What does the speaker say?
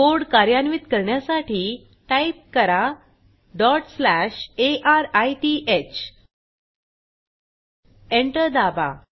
code कार्यान्वित करण्यासाठी type करा arith एंटर दाबा